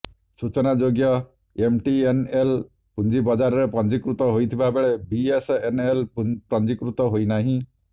ସୂଚନାଯୋଗ୍ୟ ଏମ୍ଟିଏନ୍ଏଲ୍ ପୁଞ୍ଜି ବଜାରରେ ପଞ୍ଜୀକୃତ ହୋଇଥିବାବେଳେ ବିଏସ୍ଏନ୍ଏଲ୍ ପଞ୍ଜୀକୃତ ହୋଇନାହିଁ